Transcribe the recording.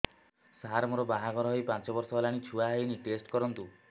ସାର ମୋର ବାହାଘର ହେଇ ପାଞ୍ଚ ବର୍ଷ ହେଲାନି ଛୁଆ ହେଇନି ଟେଷ୍ଟ କରନ୍ତୁ